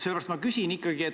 Sellepärast ma ikkagi küsin.